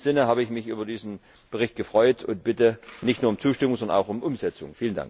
In diesem Sinne habe ich mich über diesen Bericht gefreut und bitte nicht nur um Zustimmung, sondern auch um Umsetzung!